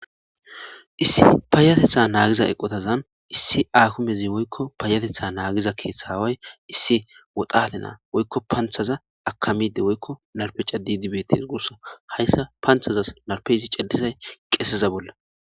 issi payatetha naagiza eqotazan issi aakumezi woykko payatetha naagiza keeththaway issi woxate naa woykko panthaza akamide woykko narpeca didibetes guussa hayssa panthazas narpe zi ceddisay qeeseza bolla